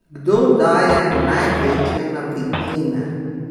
Kdo daje največje napitnine?